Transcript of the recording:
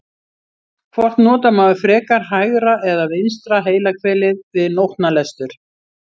Hvort notar maður frekar hægra eða vinstra heilahvelið við nótnalestur?